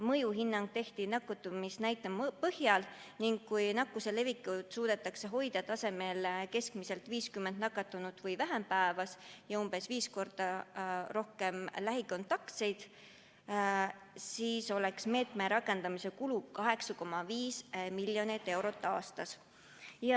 Mõjuhinnang tehti nakatumisnäitajate põhjal ning kui nakkuse levikut suudetakse hoida tasemel, et keskmiselt on 50 nakatunut või vähem päevas ja umbes viis korda rohkem lähikontaktseid, siis kuluks meetme rakendamisele 8,5 miljonit eurot aastas.